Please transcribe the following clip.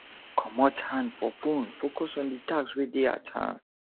comot hand for phone focus on di task wey dey at hand